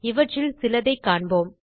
இவற்றில் சிலதைக் காண்போம்